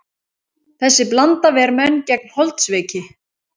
Þessi blanda ver menn gegn holdsveiki.